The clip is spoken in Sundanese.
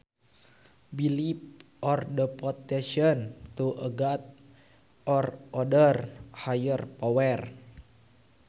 Belief or devotion to a god or other higher power